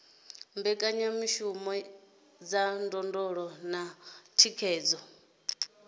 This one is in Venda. mbekanyamishumo dza ndondolo na thikhedzo